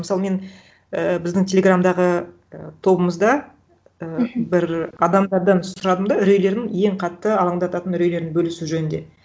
мысалы мен і біздің телеграмдағы і тобымызда і бір адамдардан сұрадым да үрейлерін ең қатты алаңдататын үрейлерін бөлісу жөнінде